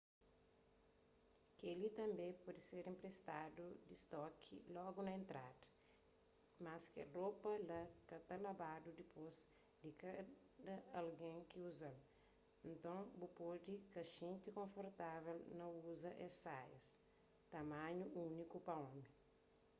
kel-li tanbê pode ser enpristadu di stoki logu na entrada mas kel ropa la ka ta labadu dipôs di kada algen ki uza-l nton bu pode ka xinti konfortavel na uza es saias tamanhu úniku pa omi